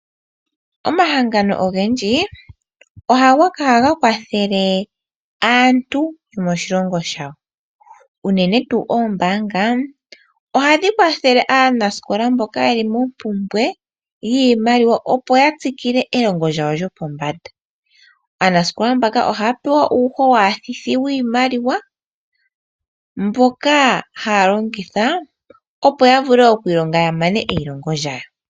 Omahangano ogendji ohaga kwathele aantu yomoshilongo shawo unene tu oombanga ohadhi kwathele aanaskola mboka yeli mo mpumbwe yiimaliwa opo yatsikile elongo lyawo lyopombanda. Aanaskola mbaka ohaya pewa uuhowathithi wiimaliwa mboka haya longitha opo ya vule okwilonga yamane eyilongo lyawo.